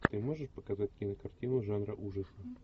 ты можешь показать кинокартину жанра ужасы